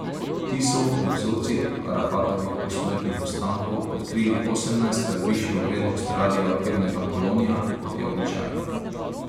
Ti so v vzorcih Arafatovih posmrtnih ostankov odkrili osemnajstkrat višjo vrednost radioaktivnega polonija, kot je običajno.